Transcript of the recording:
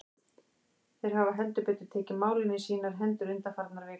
Þeir hafa heldur betur tekið málin í sínar hendur undanfarnar vikur.